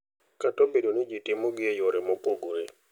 Kata obedo ni ji timogi e yore mopogore.